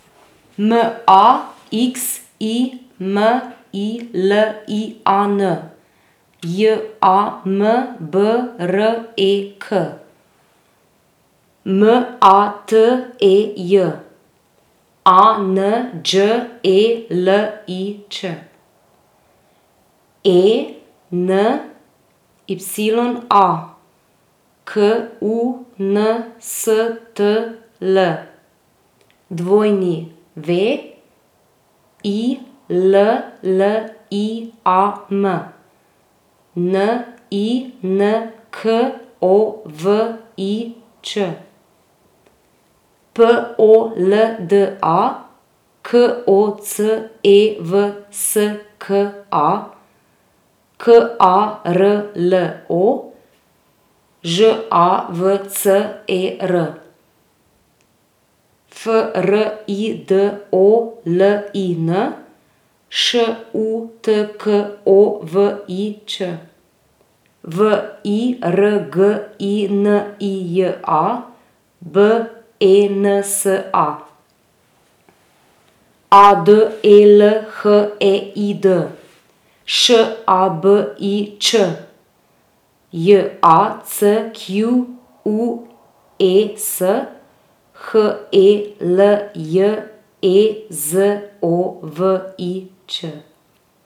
N A X I M I L I A N, J A M B R E K; M A T E J, A N Đ E L I Ć; E N Y A, K U N S T L; W I L L I A M, N I N K O V I Ć; P O L D A, K O C E V S K A; K A R L O, Ž A V C E R; F R I D O L I N, Š U T K O V I Ć; V I R G I N I J A, B E N S A; A D E L H E I D, Š A B I Č; J A C Q U E S, H E L J E Z O V I Ć.